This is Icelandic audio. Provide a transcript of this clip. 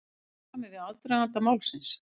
Í samræmi við aðdraganda málsins